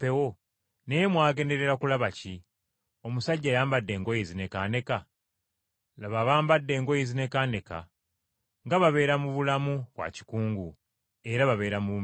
Naye mwagenderera kulaba ki? Omusajja ayambadde engoye ezinekaaneka? Laba abambadde engoye ezinekaaneka, nga babeera mu bulamu bwa kikungu era babeera mu mbiri.